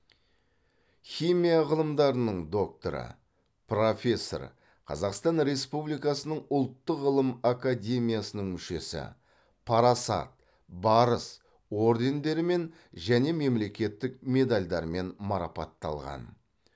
химия ғылымдарының докторы профессор қазақстан республикасының ұлттық ғылым академиясының мүшесі парасат барыс ордендерімен және мемлекеттік медальдармен марапатталған